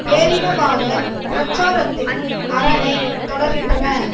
பேரினவாத பிரச்சாரத்தின் அரணை தொடர்கின்றன